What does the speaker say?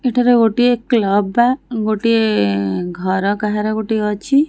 ଏଠାରେ ଗୋଟିଏ କ୍ଳବ୍ ବା ଗୋଟିଏ ଘର କାହାର ଗୋଟିଏ ଅଛି।